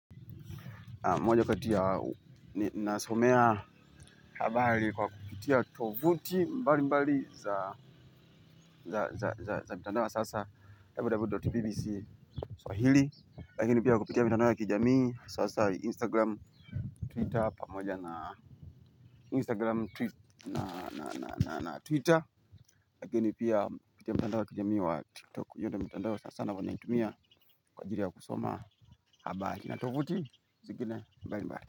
Moja kati ya nasomea habari kwa kupitia tovuti mbalimbali za mtandao wa sasa www.bbc swahili. Lakini pia kupitia mitandao wa kijamii sanasana instagram twitter pamoja na instagram twitter na twitter. Lakini pia kupitia mtandao wa kijamii wa tiktok hiyo ndiyo mitandao sanasana nayoitumia kwa ajili ya kusoma habari. Na tovuti zingine mbalimbali.